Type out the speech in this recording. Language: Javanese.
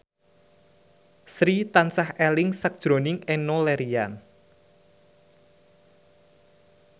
Sri tansah eling sakjroning Enno Lerian